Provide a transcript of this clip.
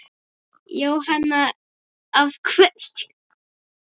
Jóhanna: Af hverju?